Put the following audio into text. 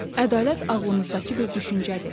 Ədalət ağlımızdakı bir düşüncədir.